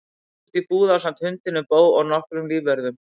Hann skrapp út í búð ásamt hundinum Bo og nokkrum lífvörðum.